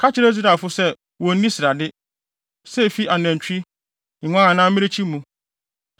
“Ka kyerɛ Israelfo no se wonnni srade, sɛ efi anantwi, nguan anaa mmirekyi mu.